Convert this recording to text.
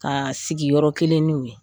Ka sigi yɔrɔ kelen n'u ye